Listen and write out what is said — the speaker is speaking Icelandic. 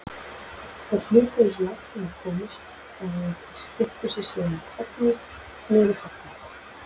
Þeir hlupu eins langt og þeir komust og steyptu sér síðan kollhnís niður hallann.